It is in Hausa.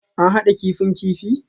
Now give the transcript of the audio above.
An hada kifin kifi?